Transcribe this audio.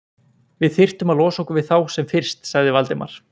Við þyrftum að losa okkur við þá sem fyrst sagði Valdimar.